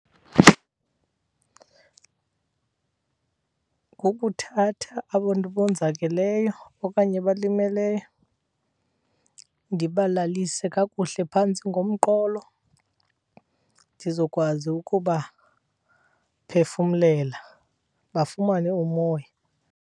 Kukuthatha abantu abonzakeleyo okanye abalimeleyo ndibalalise kakuhle phantsi ngomqolo ndizokwazi ukubaphefumlela bafumane umoya.